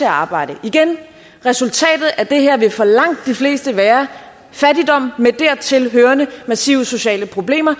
arbejde igen resultatet af det her vil for langt de fleste være fattigdom med dertil hørende massive sociale problemer